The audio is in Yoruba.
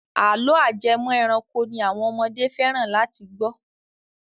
Àlọ́ ajẹmọ ẹranko ni àwọn ọmọdé fẹ́ràn láti gbọ́.